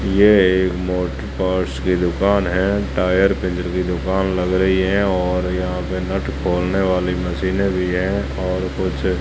ये एक motor parts की दुकान है टायर पिंजर की दुकान लग रही है और यहां पे नट खोलने वाली मशीने भी है और कुछ--